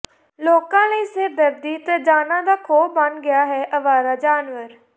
ਲੋਕਾਂ ਲਈ ਸਿਰਦਰਦੀ ਤੇ ਜਾਨਾਂ ਦਾ ਖੌਅ ਬਣ ਗਏ ਹਨ ਆਵਾਰਾ ਜਾਨਵਰ